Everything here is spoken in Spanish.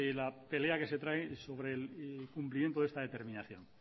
la pelea que se trae sobre el cumplimiento de esta determinación